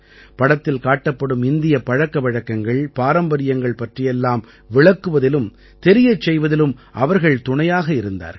படத்தில் காட்டப்படும் இந்தியப் பழக்க வழக்கங்கள் பாரம்பரியங்கள் பற்றியெல்லாம் விளக்குவதிலும் தெரியச் செய்வதிலும் அவர்கள் துணையாக இருந்தார்கள்